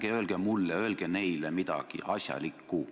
Ärge öelge mulle, öelge neile midagi asjalikku!